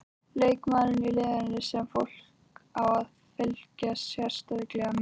Leikmaður í liðinu sem fólk á að fylgjast sérstaklega með?